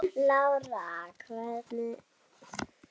Lára, hvaða mánaðardagur er í dag?